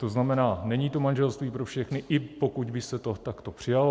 To znamená, není to manželství pro všechny, i pokud by se to takto přijalo.